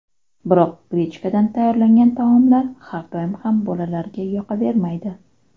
Biroq grechkadan tayyorlangan taomlar har doim ham bolalarga yoqavermaydi.